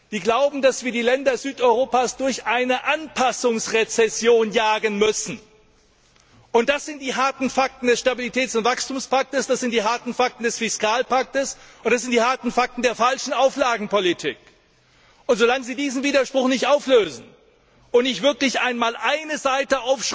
Sie glauben, dass wir die Länder Südeuropas durch eine Anpassungsrezession jagen müssen. Das sind die harten Fakten des Stabilitäts und Wachstumspakts, das sind die harten Fakten des Fiskalpakts, und das sind die harten Fakten der falschen Auflagenpolitik. So lange Sie diesen Widerspruch nicht auflösen und nicht wirklich einmal eine Seite